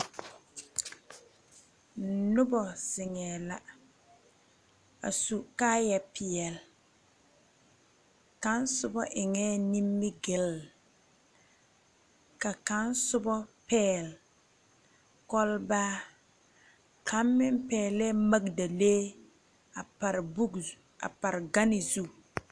Nuba zengɛɛ la a su kaaya peɛle kang suba eng ninmigil ka kang su ba pɛgli kulbaa ka kang meng pɛgle magdalee a pare gan zu.